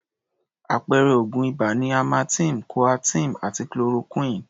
Àpẹẹrẹ oògùn ibà ni amartem, Coaterm àti Chloroquine.